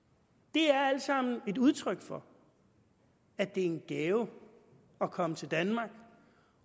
det er alt sammen et udtryk for at det er en gave at komme til danmark